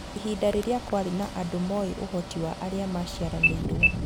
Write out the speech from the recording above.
Ihinda rĩrĩa kwarĩ na andũ moĩ ũhoti wa arĩa maciaranĩrwo.